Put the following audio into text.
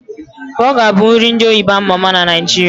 Bọga bụ nri ndị oyibo ama ama na Naijiria